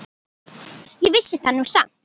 Ég vissi það nú samt alltaf.